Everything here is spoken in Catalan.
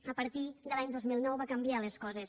i a partir del dos mil nou van canviar les coses